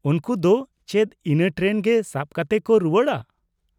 ᱩᱱᱠᱩ ᱫᱚ ᱪᱮᱫ ᱤᱱᱟᱹ ᱴᱨᱮᱱ ᱜᱮ ᱥᱟᱵ ᱠᱟᱛᱮ ᱠᱚ ᱨᱩᱣᱟᱹᱲᱼᱟ ?